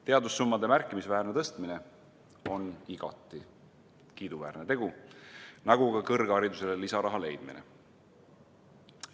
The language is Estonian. Teadussummade märkimisväärne suurendamine on igati kiiduväärne tegu, nagu ka kõrgharidusele lisaraha leidmine.